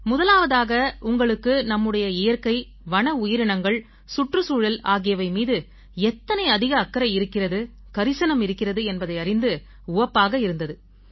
முதலாவதாக உங்களுக்கு நம்முடைய இயற்கை வன உயிரினங்கள் சுற்றுச்சூழல் ஆகியவை மீது எத்தனை அதிக அக்கறை இருக்கிறது கரிசனம் இருக்கிறது என்பதை அறிந்து உவப்பாக இருந்தது